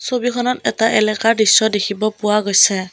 ছবিখনত থকা এটা এলেকাৰ দৃশ্য দেখিবলৈ পোৱা গৈছে।